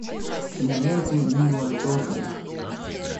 киноленты нила джордана